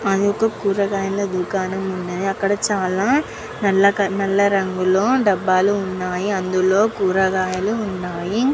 మనకి కూరగాయల దుకాణం ఉంది. అక్కడ చాల నల్ల రంగు లో డబ్బాలు వున్నాయ్. అందులో కూరగాయలు ఉన్నాయ్.